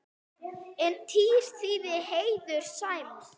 En tír þýðir heiður, sæmd.